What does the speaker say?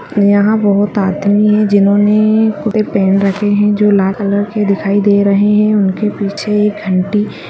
यहाँ बहुत आदमी है जिन्होंने पहन रखे है जो लाल कलर के दिखाई दे रहे है। उनके पीछे एक घंटी--